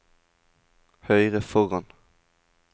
høyre foran